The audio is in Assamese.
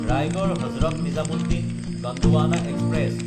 ৰায়গড়–হজৰত নিজামুদ্দিন গণ্ডৱানা এক্সপ্ৰেছ